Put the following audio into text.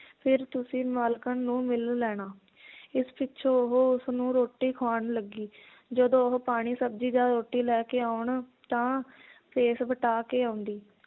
ਫਿਰ ਤੁਸੀਂ ਮਾਲਕਣ ਨੂੰ ਮਿਲ ਲੈਣਾ ਇਸ ਪਿੱਛੋਂ ਉਹ ਉਸਨੂੰ ਰੋਟੀ ਖਵਾਉਣ ਲੱਗੀ ਜਦੋਂ ਉਹ ਪਾਣੀ ਸਬਜ਼ੀ ਜਾਂ ਰੋਟੀ ਲੈਕੇ ਆਉਣ ਤਾਂ ਭੇਸ ਵਟਾ ਕੇ ਆਉਂਦੀ